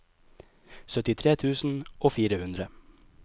syttitre tusen og fire hundre